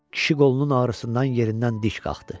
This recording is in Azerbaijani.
Kişi qolunun ağrısından yerindən dik qalxdı.